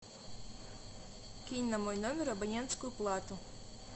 кинь на мой номер абонентскую плату